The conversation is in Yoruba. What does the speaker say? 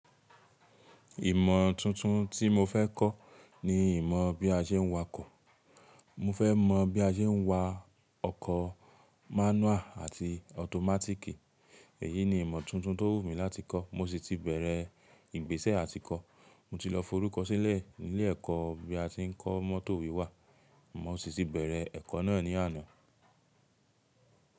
Ìmọ̀ tuntun tí mo fẹ́ kọ́ ni ìmọ̀ bí a ṣe ń wa ọkọ̀. Mo fẹ́ mọ̀ bí a ṣe ń wa ọkọ̀ manual àti automatic. Èyí ni ìmọ̀ tuntun tó wù mí láti kọ́. Mo sì ti bẹ̀rẹ̀ ìgbésẹ̀ àtìkọ. Mo ti lọ forúkọ sílẹ̀ nílé ẹ̀kọ́ bí a tí ń kọ mọ́tò wiwà. Mo sì ti bẹ̀rẹ̀ ẹ̀kọ́ náà ní àná.